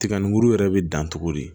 Tiga ni muru yɛrɛ bɛ dan togo di